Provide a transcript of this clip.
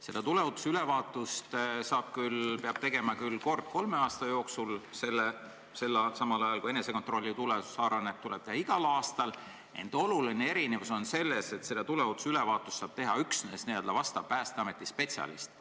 See tuleohutusülevaatus tuleb teha küll kord kolme aasta jooksul, samal ajal kui enesekontrolli tuleohutusaruanne tuleb esitada igal aastal, ent oluline erinevus on selles, et tuleohutusülevaatust saab teha üksnes Päästeameti spetsialist.